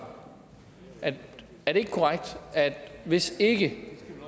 er det ikke korrekt at hvis ikke